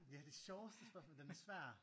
Ja det sjoveste spørgsmål den er svær